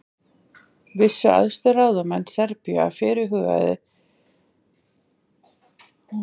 vissu æðstu ráðamenn serbíu af fyrirhuguðu tilræði við ríkiserfingjann